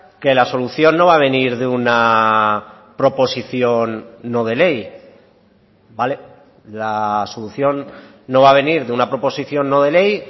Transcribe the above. que la solución no va a venir de una proposición no de ley vale la solución no va a venir de una proposición no de ley